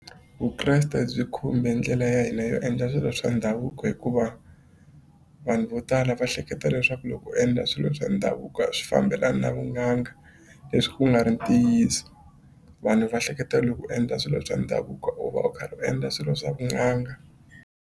Vukreste byi khumbe ndlela ya hina yo endla swilo swa ndhavuko hikuva vanhu vo tala va hleketa leswaku loko u endla swilo swa ndhavuko swi fambelana na vun'anga leswi ku nga ri ntiyiso vanhu va hleketa loko u endla swilo swa ndhavuko u va u karhi u endla swilo swa vun'anga.